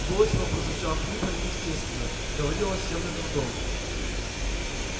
голос его прозвучал хрипло и неестественно говорил он с явным трудом